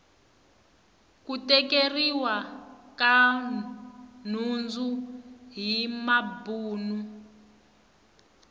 ku tekeriwa ka nhundzu hi mabuni